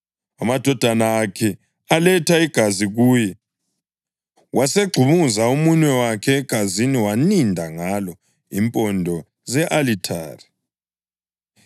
Amadodana akhe aletha igazi kuye, wasegxumuza umunwe wakhe egazini waninda ngalo impondo ze-alithare.